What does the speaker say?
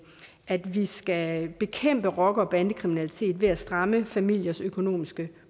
at vi skal bekæmpe rocker og bandekriminalitet ved at stramme familiers økonomiske